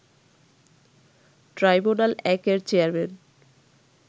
ট্রাইব্যুনাল-১ এর চেয়ারম্যান